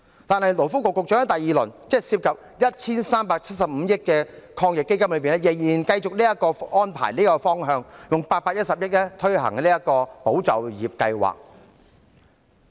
但是，勞工及福利局局長在推出第二輪，即涉及 1,375 億元的防疫抗疫基金時，仍然繼續採用這個安排和方向，動用810億元推行"保就業"計劃。